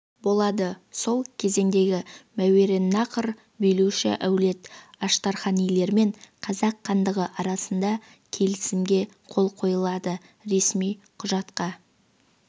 болады сол кезеңдегі мәуераннахр билеуші әулет аштарханилермен қазақ хандығы арасында келісімге қол қойылады ресми құжатқа